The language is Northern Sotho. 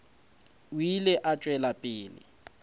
o ile a tšwela pele